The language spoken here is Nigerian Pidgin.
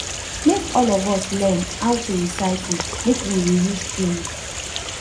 make all of us learn how to recycle make we reuse tins